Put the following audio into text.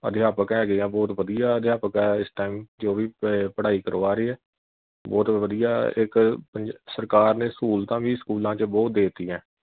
ਅਧਿਆਪਕ ਹੈਗੇ ਐ ਬਹੁਤ ਵਧੀਆ ਅਧਿਆਪਕ ਆ ਇਸ time ਜੋ ਵੀ ਅਹ ਪੜਾਈ ਕਰਵਾ ਰਹੇ ਆ ਬਹੁਤ ਵਧੀਆ ਇਕ ਸਰਕਾਰ ਨੇ ਸਹੂਲਤਾਂ ਵੀ ਸਕੂਲਾਂ ਵਿਚ ਬਹੁਤ ਦੇ ਤੀਆਂ।